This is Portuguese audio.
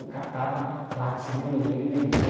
Eu catava latinha, alumínio, vendia.